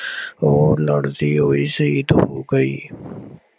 ਉਹ ਲੜਦੀ ਹੋਈ ਸ਼ਹੀਦ ਹੋ ਗਈ।